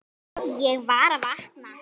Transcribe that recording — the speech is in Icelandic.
Ég var að vakna.